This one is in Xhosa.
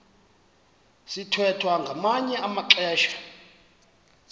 sithwethwa ngamanye amaxesha